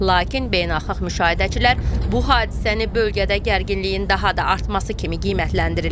Lakin beynəlxalq müşahidəçilər bu hadisəni bölgədə gərginliyin daha da artması kimi qiymətləndirirlər.